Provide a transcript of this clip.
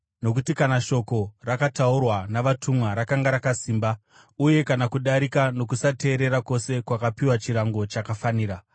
Nokuti kana shoko rakataurwa navatumwa rakanga rakasimba, uye kana kudarika nokusateerera kwose kwakapiwa chirango chakafanira,